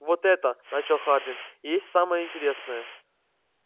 вот это начал хардин и есть самое интересное